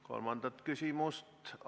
Kolmandat küsimust ...